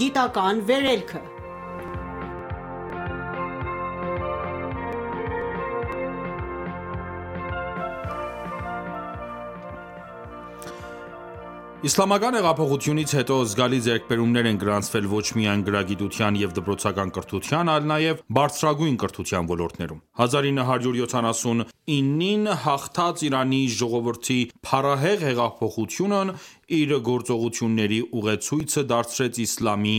գիտական վերելքը (Հաղորդում՝ նվիրված Ֆաջրի տասնօրյակին) Իսլամական հեղափոխությունից հետո զգալի ձեռքբերումներ են գրանցվել ոչ միայն գրագիտության և դպրոցական կրթության, այլ նաև բարձրագույն կրթության ոլորտներում։ 1979-ին հաղթած Իրանի ժողովրդի փառահեղ հեղափոխությունն իր գործողությունների ուղեցույցը դարձրեց իսլամի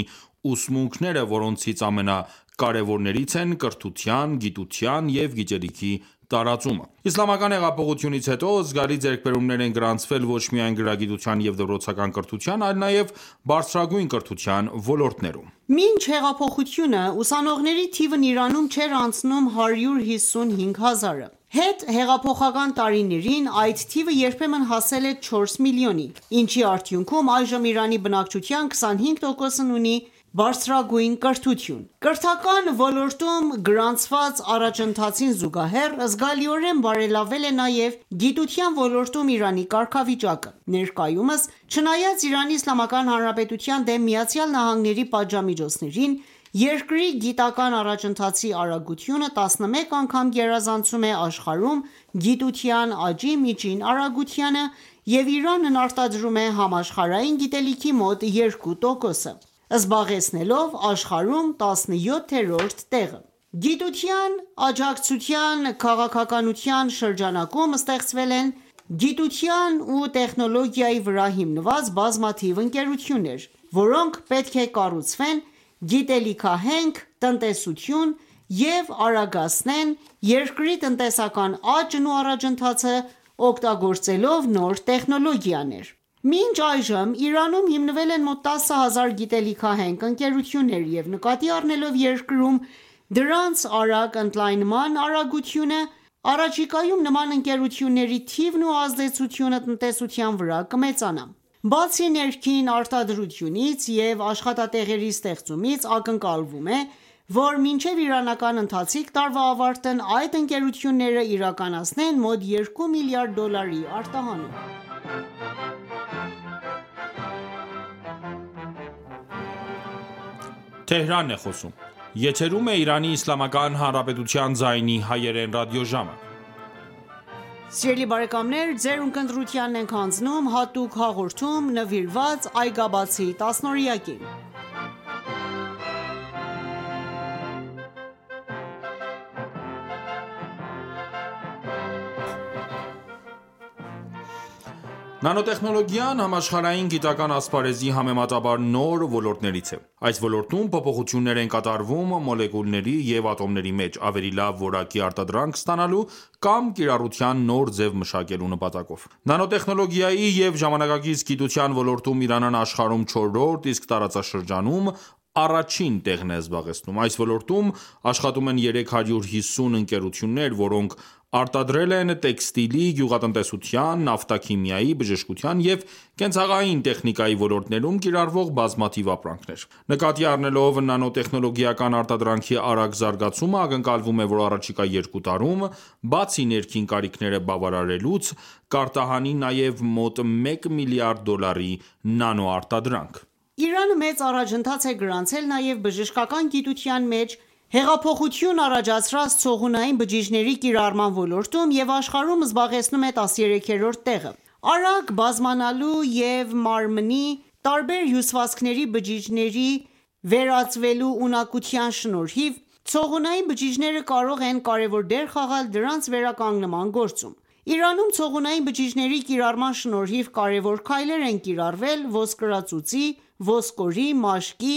ուսմունքները, որոնցից ամենակարեւորներից են՝ կրթության, գիտության ու գիտելիքի տարածումը: Իսլամական հեղափոխությունից հետո զգալի ձեռքբերումներ են գրանցվել ոչ միայն գրագիտության և դպրոցական կրթության, այլ նաև բարձրագույն կրթության ոլորտներում։ Մինչ հեղափոխությունը, ուսանողների թիվն Իրանում չէր անցնում 155 հազարը։ Հետհեղափոխական տարիներին այդ թիվը երբեմն հասել է 4 միլիոնի, ինչի արդյունքում այժմ, Իրանի բնակչության 25%-ն այսօր ունի բարձրագույն կրթություն։ Կրթական ոլորտում գրանցված առաջընթացին զուգահեռ, զգալիորեն բարելավվել է նաև գիտության ոլորտում Իրանի կարգավիճակը։ Ներկայումս, չնայած Իրանի Իսլամական Հանրապետության դեմ ԱՄՆ-ի պատժամիջոցներին, երկրի գիտական առաջընթացի արագությունը 11 անգամ գերազանցում է աշխարհում գիտության աճի միջին արագությանը, և Իրանն արտադրում է համաշխարհային գիտելիքի մոտ 2%-ը, զբաղեցնելով աշխարհում 17-րդ տեղը։ Գիտության աջակցության քաղաքականության շրջանակում ստեղծվել են գիտության ու տեխնոլոգիայի վրա հիմնված բազմաթիվ ընկերություններ, որոնք պետք է կառուցեն գիտահենք տնտեսություն և արագացնեն երկրի տնտեսական աճն ու առաջընթացը՝ օգտագործելով նոր տեխնոլոգիաները։ Մինչ այժմ Իրանում հիմնվել են մոտ 10 հազար գիտահենք ընկերություններ, և նկատի առնելով երկրում դրանց արագ ընդլայնման արագությունն, առաջիկայում նման ընկերությունների թիվն ու ազդեցությունը տնտեսության վրա, կմեծանա։ Բացի ներքին արտադրությունից և աշխատատեղերի ստեղծումից, ակնկալվում է, որ մինչև իրանական ընթացիկ տարվա ավարտն այդ ընկերությունները կիրականացնեն մոտ 2 միլիարդ դոլարի արտահանում ։ Նանոտեխնոլոգիան համաշխարհային գիտական ասպարեզի համեմատաբար նոր ոլորտներից է։ Այս ոլորտում փոփոխություններ են կատարվում մոլեկուլների և ատոմների մեջ՝ ավելի լավ որակի արտադրանք ստանալու կամ կիրառության նոր ձև մշակելու նպատակով։ Նանոտեխնոլոգիայի և ժամանակակից գիտության ոլորտում Իրանն աշխարհում չորրորդ, իսկ տարածաշրջանում առաջին տեղն է զբաղեցնում։ Այս ոլորտում աշխատում են 350 ընկերություններ, որոնք արտադրել են տեքստիլի, գյուղատնտեսության, նավթաքիմիայի, բժշկության և կենցաղային տեխնիկայի ոլորտներում կիրառվող բազմաթիվ ապրանքներ։ Նկատի առնելով նանոտեխնոլոգիական արտադրանքի արագ զարգացումը, ակնկալվում է, որ առաջիկա 2 տարում, բացի ներքին կարիքները բավարարելուց, կարտահանի նաև մոտ մեկ միլիարդ դոլարի նանոարտադրանք։ Իրանը մեծ առաջընթաց է գրանցել նաև բժշկական գիտության մեջ հեղափոխություն առաջացրած ցողունային բջիջների կիրառման ոլորտում և աշխարհում զբաղեցնում է 13-րդ տեղը։ Արագ բազմանալու և մարմնի տարբեր հյուսվածքների բջիջների վերածվելու ունակության շնորհիվ, ցողունային բջիջները կարող են կարևոր դեր խաղալ դրանց վերականգնման գործում: Իրանում ցողունային բջիների կիրառման շնորհիվ կարևոր քայլեր են կիրառվել ոսկրածուծի, ոսկորի, մաշկի,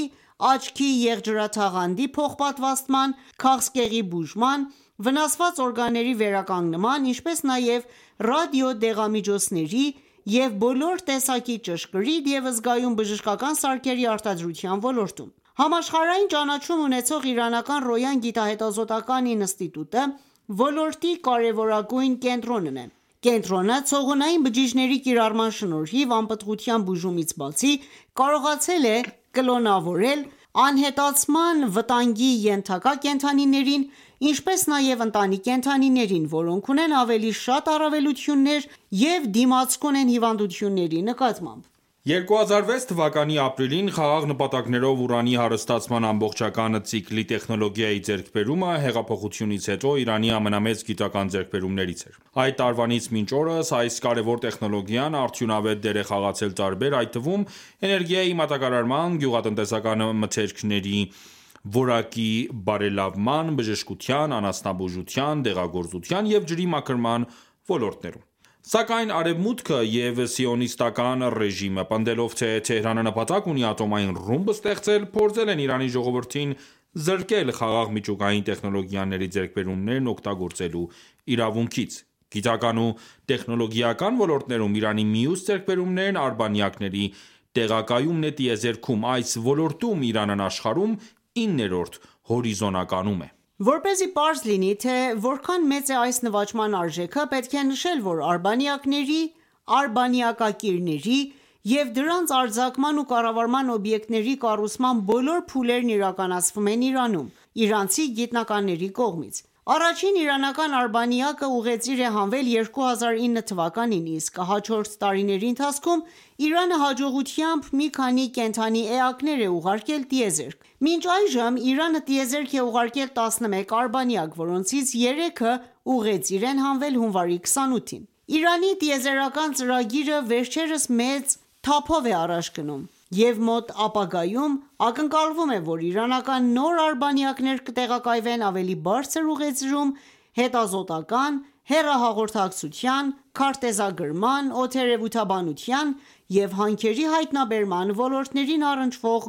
աչքի եղջերաթաղանթի փոխպատվաստման, քաղցկեղի բուժման, վնասված օրգանների վերականգնման, ինչպես նաև ռադիոդեղամիջոցների և բոլոր տեսակի ճշգրիտ և զգայուն բժշկական սարքերի արտադրության ոլորտներում։ Համաշխարհային ճանաչում ունեցող իրանական «Ռոյան» գիտահետազոտական ինստիտուտը ոլորտի կարևորագույն կենտրոնն է։ Կենտրոնը ցողունային բջիջների կիրառման շնորհիվ անպտղության բուժումից բացի, կարողացել է կլոնավորել անհետացման վտանգի ենթակա կենդանիներին, ինչպես նաև ընտանի կենդանիներին, որոնք ունեն ավելի շատ առավելություններ և դիմացկուն են հիվանդությունների նկատմամբ: 2006 թվականի ապրիլին խաղաղ նպատակներով ուրանի հարստացման ամբողջական ցիկլի տեխնոլոգիայի ձեռքբերումը, հեղափոխությունից հետո Իրանի ամենամեծ գիտական ձեռքբերումներից էր: Այդ տարվանից մինչ օրս, այս կարևոր տեխնոլոգիան արդյունավետ դեր է խաղացել տարբեր, այդ թվում՝ էներգիայի մատակարարման, գյուղատնտեսական մթերքների որակի բարելավման, բժշկության, անասնաբուժության, դեղագործության և ջրի մաքրման ոլորտներում։ Սակայն Արևմուտքը և Սիոնիստական ռեժիմը, պնդելով թե՝ «Թեհրանը նպատակ ունի ատոմային ռումբ ստեղծել», փորձել են Իրանի ժողովրդին զրկել խաղաղ միջուկային տեխնոլոգիաների ձեռքբերումներն օգտագործելու իրավունքից: Գիտական ու տեխնոլոգիական ոլորտներում Իրանի մյուս ձեռքբերումն արբանյակների տեղակայումն է տիեզերքում։ Այս ոլորտում Իրանն աշխարհում իններորդ հորիզոնականում է: Որպեսզի պարզ լինի, թե որքան մեծ է այս նվաճման արժեքը, պետք է նշել, որ արբանյակների, արբանյակակիրների և դրանց արձակման ու կառավարման օբյեկտների կառուցման բոլոր փուլերն իրականացվում են Իրանում, իրանցի գիտնականների կողմից: Առաջին իրանական արբանյակը ուղեծիր է հանվել 2009 թվականին, իսկ հաջորդ տարիների ընթացքում Իրանը հաջողությամբ մի քանի կենդանի էակներ է ուղարկել տիեզերք: Մինչ այժմ Իրանը տիեզերք է ուղարկել 11 արբանյակ, որոնցից երեքը ուղեծիր են հանվել հունվարի 28-ին։ Իրանի տիեզերական ծրագիրը վերջերս մեծ թափովէ առաջ գնում, և մոտ ապագայում ակնկալվում է, որ իրանական նոր արբանյակներ կտեղակայվեն ավելի բարձր ուղեծրերում՝ հետազոտական, հեռահաղորդակցության, քարտեզագրման, օդերևութաբանության և հանքերի հայտնաբերման ո;որտներին առընչվող